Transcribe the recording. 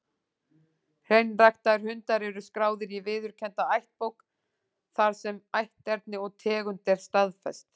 Hreinræktaðir hundar eru skráðir í viðurkennda ættbók, þar sem ætterni og tegund er staðfest.